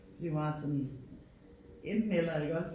Det er meget sådan enten eller iggås?